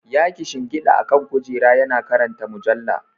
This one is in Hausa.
Ya kishingida akan kujera yana karanta mujalla.